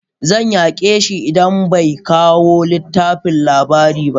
Zan yaƙe shi idan bai ba kawo littafin labari ba.